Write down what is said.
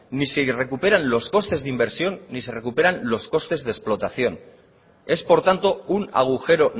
ni se recuperan los costes de inversión ni se recuperan los costes de explotación es por tanto un agujero